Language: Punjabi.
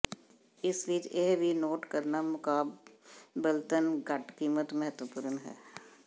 ਇਸ ਵਿਚ ਇਹ ਵੀ ਨੋਟ ਕਰਨਾ ਮੁਕਾਬਲਤਨ ਘੱਟ ਕੀਮਤ ਮਹੱਤਵਪੂਰਨ ਹੈ